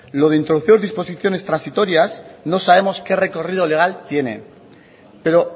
lo de introducir disposiciones transitorias no sabemos qué recorrido legal tiene pero